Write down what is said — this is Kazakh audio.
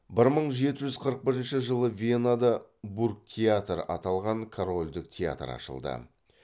бір мың жеті жүз қырық бірінші жылы венада бургтеатр аталған корольдік театр ашылды